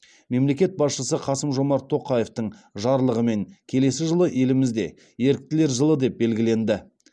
мемлекет басшысы қасым жомарт тоқаевтың жарлығымен келесі жылы елімізде еріктілер жылы деп белгіленді